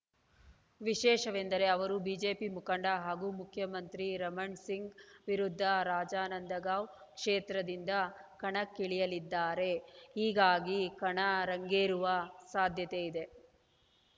ವಿಶೇಷವೆಂದರೆ ಅವರು ಬಿಜೆಪಿ ಮುಖಂಡ ಹಾಗೂ ಮುಖ್ಯಮಂತ್ರಿ ರಮಣ್‌ ಸಿಂಗ್‌ ವಿರುದ್ಧ ರಾಜನಂದಗಾಂವ್‌ ಕ್ಷೇತ್ರದಿಂದ ಕಣಕ್ಕಿಳಿಯಲಿದ್ದಾರೆ ಹೀಗಾಗಿ ಕಣ ರಂಗೇರುವ ಸಾಧ್ಯತೆ ಇದೆ